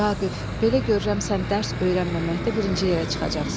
Vaqif, belə görürəm sən dərs öyrənməməkdə birinci yerə çıxacaqsan.